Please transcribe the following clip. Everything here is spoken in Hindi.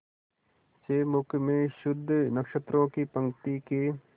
से मुख में शुद्ध नक्षत्रों की पंक्ति के